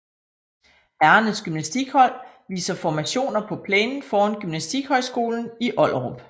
Herrernes gymnastikhold viser formationer på plænen foran gymnastikhøjskolen i Ollerup